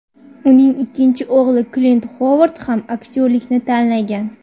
Uning ikkinchi o‘g‘li Klint Xovard ham aktyorlikni tanlagan.